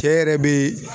Cɛ yɛrɛ bee